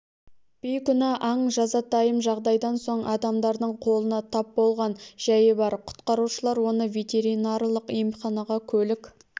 бейкүнә аң жазатайым жағдайдан соң адамдардың қолына тап болған жәйі бар құтқарушылар оны ветеринарлық емханаға көлік